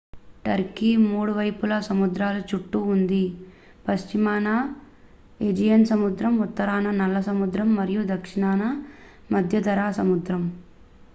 Turkey 3 వైపులా సముద్రాల చుట్టూ ఉంది పశ్చిమాన ఏజియన్ సముద్రం ఉత్తరాన నల్ల సముద్రం మరియు దక్షిణాన మధ్యధరా సముద్రం